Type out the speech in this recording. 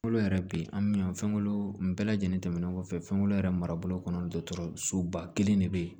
Kolo yɛrɛ bi an bi yan fɛnlo bɛɛ lajɛlen tɛmɛnen kɔfɛ fɛn kolo yɛrɛ mara bolo kɔnɔ dɔtɔrɔ soba kelen de bɛ yen